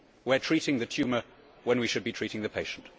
We are treating the tumour when we should be treating the patient.